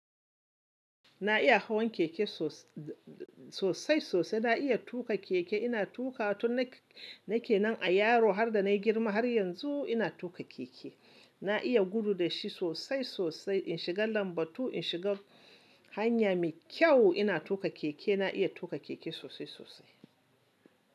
Na iya hawan keke sosai sosai. Na iya tuƙa keke, ina tuƙa tun na ke nan a yaro har da na yi girma har yanzu ina tuƙa keke. Na iya gudu da shi sosai sosai. In shiga lambatu, in shiga hanya mai kyau ina tuƙa keke. Na iya tuƙa keke sosai sosai.